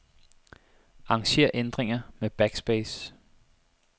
Arranger ændringer med backspace.